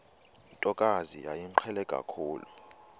ntokazi yayimqhele kakhulu